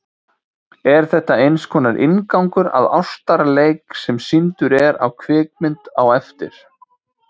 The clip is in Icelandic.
Er þetta einskonar inngangur að ástarleik, sem sýndur er á kvikmynd á eftir.